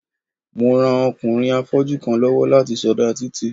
Mo ran ọkùnrin afọ́jú kan lọ́wọ́ láti sọdá títì.